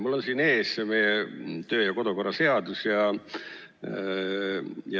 Mul on siin ees meie kodu- ja töökorra seadus.